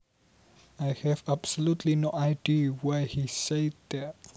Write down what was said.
I have absolutely no idea why he said that